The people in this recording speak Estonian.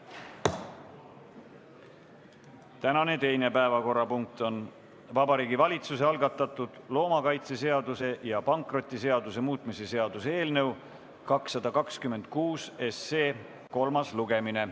Tänane teine päevakorrapunkt on Vabariigi Valitsuse algatatud loomakaitseseaduse ja pankrotiseaduse muutmise seaduse eelnõu 226 kolmas lugemine.